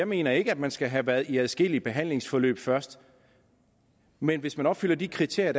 mener at man skal have været i adskillige behandlingsforløb først men hvis man opfylder de kriterier